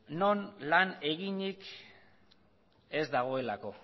non lan eginik ez dagoelako